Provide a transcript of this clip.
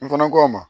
N fana ko a ma